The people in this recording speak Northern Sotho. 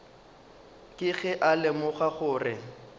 ke ge a lemoga gore